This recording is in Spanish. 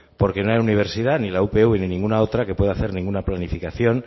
porque no hay universidad ni la upv ni ninguna otra que pueda hacer ninguna planificación